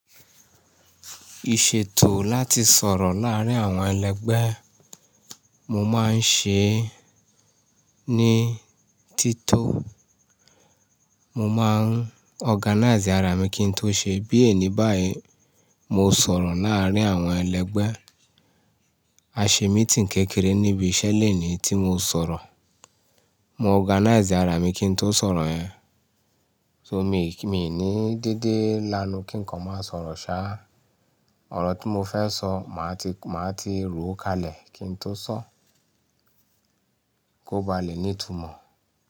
Ìṣètò láti sọ̀rọ̀ láàárín àwọn ẹlẹgbẹ́, mo máa ń ṣe é ní títò. Mo máa ń organize ara mi kí n tó ṣe é. Bí eni báyìí, mo sọ̀rọ̀ láàárín àwọn ẹlẹgbẹ́. A ṣe meeting kékeré níbi iṣẹ́ lenìí tí mo sọ̀rọ̀. Mo organize ara mi kí n tó sọ̀rọ̀ yẹn. So mi, mi ní dédé lanu kí ǹkan máa sọ̀rọ̀ sá. Òrò tí mo fẹ́ sọ, màá ti, màá ti ròó kalẹ̀ kí n tó sọ ọ, kó ba lè ní ìtumọ̀.